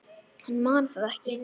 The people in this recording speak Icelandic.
Hann man það ekki.